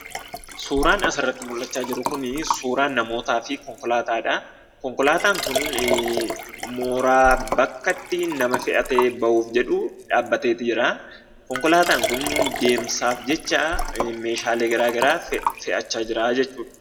Suuraan asirratti mullachaa jiru kunii suuraa namootaa fi konkolaataadha. Konkolaataan kun mooraa bakka ittii nama fe'atee ba'uuf jedhuu dhaabbateeti jira. Konkolaataan kun deemsaaf jecha meeshaalee garaa garaa fe'achaa jira jechuudha.